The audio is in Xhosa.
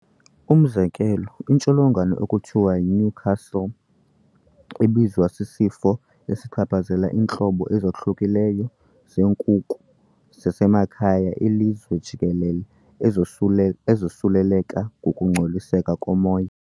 Umzekelo, intsholongwane ekuthiwa yiNewcastle ebizwa, sisifo esichaphazela iintlobo ezohlukileyo zeenkukhu zasemakhaya ilizwe jikelele, ezosu ezosuleleka ngokungcoliseka komoya.